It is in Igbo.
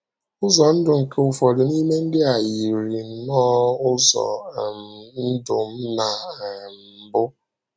Ụzọ ndụ nke ụfọdụ n’ime ndị a yìrì nnọọ ụzọ um ndụ m ná um mbụ.